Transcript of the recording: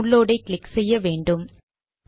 download ஐ click செய்ய வேண்டும்